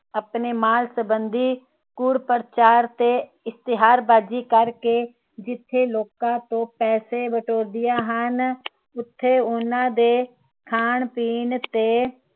ਆਪਣੇ ਮਾਲ ਸੰਬੰਧੀ ਕੁੜਪ੍ਰਚਾਰ ਤੇ ਇਸ਼ਤਿਹਾਰ ਬਾਜੀ ਕਰਕੇ ਜਿਥੇ ਲੋਕਾਂ ਤੋਂ ਪੈਸੇ ਬਟੋਰਦੀਆਂ ਹਨ ਉਥੇ ਉੰਨਾ ਦੇ ਖਾਣ ਪੀਣ ਤੇ